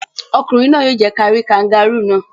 Ọkùnrin náà yóò jẹ kí ẹ rí kangárù náà.